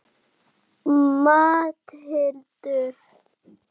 Matthildur